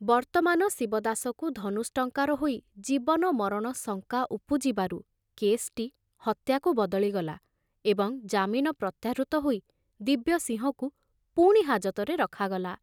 ବର୍ତ୍ତମାନ ଶିବଦାସକୁ ଧନୁଷ୍ଟଙ୍କାର ହୋଇ ଜୀବନ ମରଣ ଶଙ୍କା ଉପୁଜିବାରୁ କେସଟି ହତ୍ୟାକୁ ବଦଳିଗଲା ଏବଂ ଜାମିନ ପ୍ରତ୍ୟାହୃତ ହୋଇ ଦିବ୍ୟସିଂହକୁ ପୁଣି ହାଜତରେ ରଖାଗଲା।